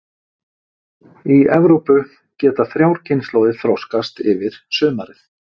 Í Evrópu geta þrjár kynslóðir þroskast yfir sumarið.